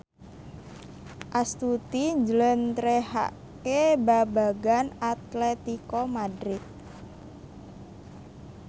Astuti njlentrehake babagan Atletico Madrid